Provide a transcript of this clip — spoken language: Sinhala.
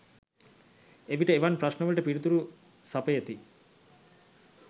එවිට එවන් ප්‍රශ්න වලට පිළිතුරු සපයති යි